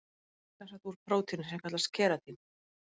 Hárið er sem sagt úr prótíni sem kallast keratín.